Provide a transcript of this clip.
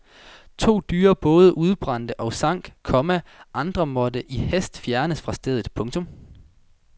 To dyre både udbrændte og sank, komma andre måtte i hast fjernes fra stedet. punktum